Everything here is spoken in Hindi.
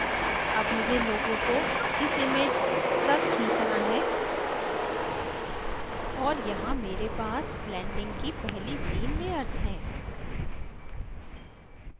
अब मुझे logo को इस image तक खींचना है और यहाँ मेरे पास blending की पहली तीन layers हैं